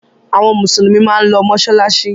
Àwọn Mùsùlùmí máa ń lọ mọ́ṣáláṣí.